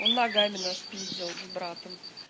она ногами нас пиздил с братом